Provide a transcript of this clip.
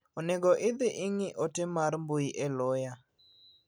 Onego idhi ing'i ote mar mbui e loya.